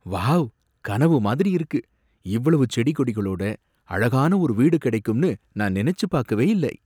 Wow! கனவு மாதிரி இருக்கு! இவ்வளவு செடி கொடிகளோட அழகான ஒரு வீடு கிடைக்கும்னு நான் நினைச்சு பாக்கவே இல்லை!